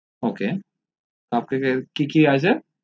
ok cup cake কি কি আছে